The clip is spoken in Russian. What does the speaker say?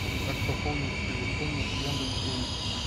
как пополнить телефон с яндекс денег